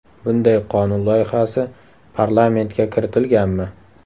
Bunday qonun loyihasi parlamentga kiritilganmi?